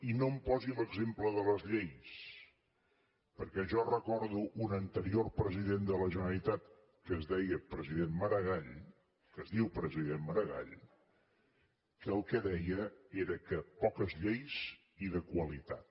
i no em posi l’exemple de les lleis perquè jo recordo un anterior president de la generalitat que es deia president maragall que es diu president maragall que el que deia era que poques lleis i de qualitat